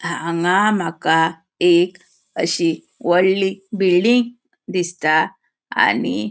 अ हांगा माका एक अशी वडली बिल्डिंग दिसता आणि --